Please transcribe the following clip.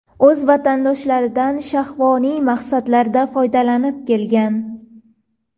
O‘z vatandoshlaridan shahvoniy maqsadlarda foydalanib kelgan.